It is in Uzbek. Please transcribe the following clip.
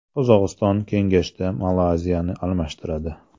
Qozog‘iston kengashda Malayziyani almashtiradi.